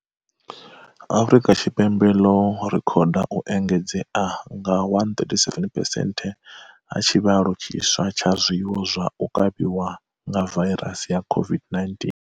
Afrika Tshipembe ḽo rekhoda u engedzea nga 137 phesenthe ha tshivhalo tshiswa tsha zwiwo zwa u kavhiwa nga vairasi ya COVID-19.